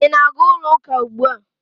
Ị na-aga ụlọ ụka ugbu a?